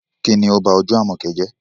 Kín ni ó ba ojú Àmọ̀kẹ́ jẹ́?